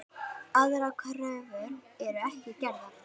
Aðrar kröfur eru ekki gerðar.